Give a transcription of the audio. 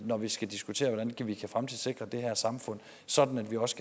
når vi skal diskutere hvordan vi kan fremtidssikre det her samfund sådan at vi også